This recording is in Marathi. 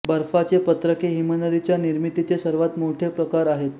बर्फाचे पत्रके हिमनदीच्या निर्मितीचे सर्वात मोठे प्रकार आहेत